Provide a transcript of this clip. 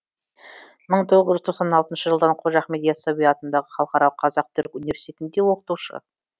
мың тоғыз жүз тоқсан алтыншы жылдан қожа ахмет йассауи атындағы халықаралық қазақ түрік университетінде оқытушы